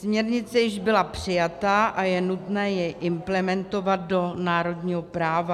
Směrnice již byla přijata a je nutné ji implementovat do národního práva.